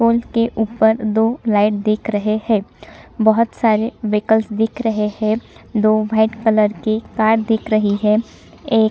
उनके ऊपर दो लाइट दिख रहे है बहोत सारे व्हीकल दिख रहे है दो वाइट कलर की कार दिख रही है एक--